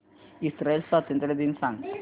Israel स्वातंत्र्य दिन सांग